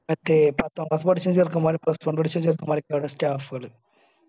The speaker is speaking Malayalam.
മറ്റേ പത്താം class പഠിച്ച ചെറുക്കന്മാരും plus one പഠിച്ച ചെറുക്കന്മാരുമൊക്കെ അവിടെ staff പോലു